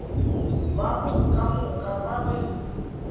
babo ka moka ba be